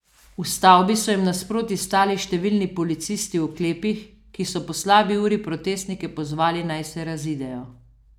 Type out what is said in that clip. V stavbi so jim nasproti stali številni policisti v oklepih, ki so po slabi uri protestnike pozvali, naj se razidejo.